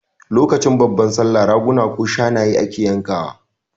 Lokacin babban Sallah Raguna ko Shanaye ake yanka wa